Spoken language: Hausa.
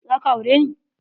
Za ka aure ne?